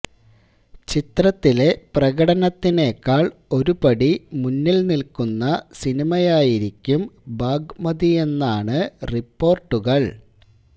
ചിത്രത്തിലെ പ്രകടനത്തിനെക്കാള് ഒരുപടി മുന്നില് നില്ക്കുന്ന സിനിമയായിരിക്കും ബാഗമതിയെന്നാണ് റിപ്പോര്ട്ടുകള്